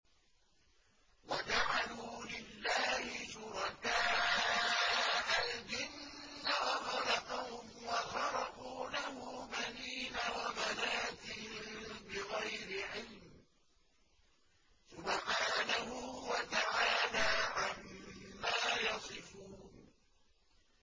وَجَعَلُوا لِلَّهِ شُرَكَاءَ الْجِنَّ وَخَلَقَهُمْ ۖ وَخَرَقُوا لَهُ بَنِينَ وَبَنَاتٍ بِغَيْرِ عِلْمٍ ۚ سُبْحَانَهُ وَتَعَالَىٰ عَمَّا يَصِفُونَ